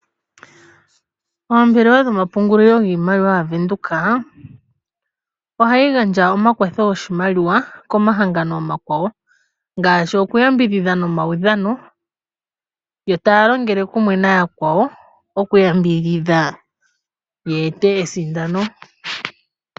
Ombelewa dhomapungulilo giimaliwa yaBank Windhoek ohayi gandja omakwatho goshimaliwa komahangano omakwawo ngaashi okuyambidhidha nomaudhano yo taya longele kumwe nayakwawo okuyambidhidha yeete esindano.